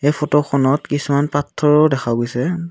ফটোখনত কিছুমান পাথৰো দেখা গৈছে।